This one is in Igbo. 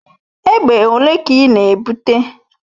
Egbe ole ka ị na-ebute?